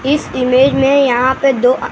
इस इमेज में यहां पे दो आ--